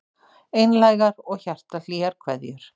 Einlægar og hjartahlýjar kveðjur